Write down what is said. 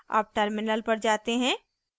अब terminal पर जाते हैं